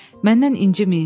Məndən inciməyin.